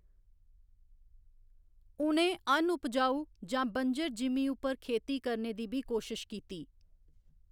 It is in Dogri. उ'नें अन उपजाऊ जां बंजर जिमीं उप्पर खेती करने दी बी कोशश कीती।